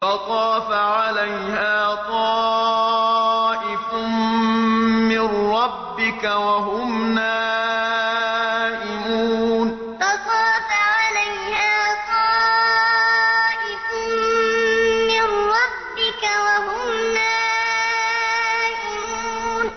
فَطَافَ عَلَيْهَا طَائِفٌ مِّن رَّبِّكَ وَهُمْ نَائِمُونَ فَطَافَ عَلَيْهَا طَائِفٌ مِّن رَّبِّكَ وَهُمْ نَائِمُونَ